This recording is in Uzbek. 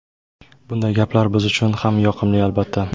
Bunday gaplar biz uchun ham yoqimli, albatta.